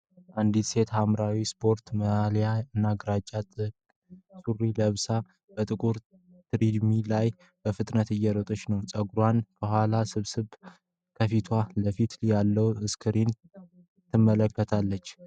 አንዲት ሴት ሐምራዊ ስፖርት ማሊያ እና ግራጫማ ጥብቅ ሱሪ ለብሳ፣ በጥቁር ትሬድሚል ላይ በፍጥነት እየሮጠች ነው። ፀጉሯን ከኋላዋ ሰብስባ ከፊት ለፊቷ ያለውን ስክሪን ትመለከታለች።